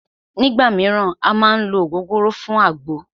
Nígbà míràn à má ń ló ògógóró fún àgbo